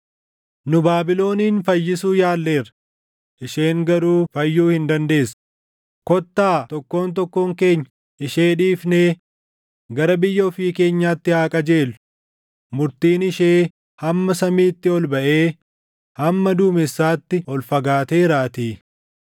“ ‘Nu Baabilonin fayyisu yaalleerra; isheen garuu fayyuu hin dandeessu; kottaa tokkoon tokkoon keenya ishee dhiifnee gara biyya ofii keenyaatti haa qajeellu; murtiin ishee hamma samiitti ol baʼee, hamma duumessaatti ol fagaateeraatii.’